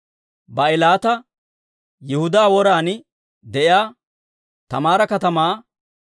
Baa'ilaata, Yihudaa woran de'iyaa Taamaara katamaa,